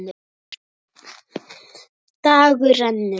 Dagur rennur.